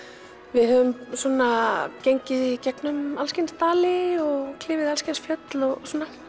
við höfum svona gengið í gegnum alls kyns dali og klifið alls kyns fjöll og